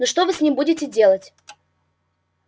ну что вы с ним будете делать